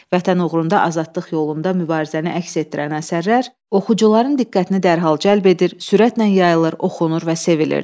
Vətən uğrunda, azadlıq yolunda mübarizəni əks etdirən əsərlər oxucuların diqqətini dərhal cəlb edir, sürətlə yayılır, oxunur və sevilirdi.